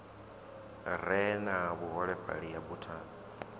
re na vhuholefhali ya buthano